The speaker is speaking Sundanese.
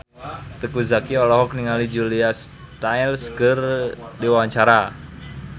Teuku Zacky olohok ningali Julia Stiles keur diwawancara